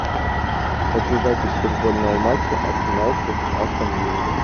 хочу запись футбольного матча арсенал против астон виллы